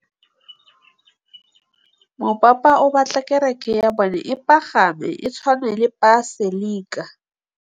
Mopapa o batla kereke ya bone e pagame, e tshwane le paselika.